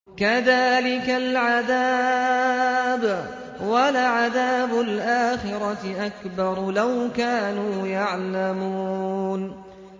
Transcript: كَذَٰلِكَ الْعَذَابُ ۖ وَلَعَذَابُ الْآخِرَةِ أَكْبَرُ ۚ لَوْ كَانُوا يَعْلَمُونَ